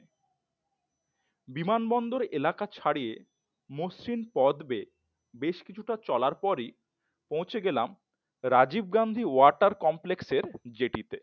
বিমানবন্দর এলাকা ছাড়িয়ে মসৃণ পদ বেয়ে কিছুটা চলার পরে পৌঁছে গেলাম রাজীব গান্ধী ওয়াটার কমপ্লেক্স এর জেটি তে